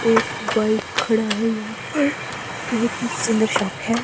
एक बाइक खड़ा है यहां पर बहोत ही सुंदर शॉप है।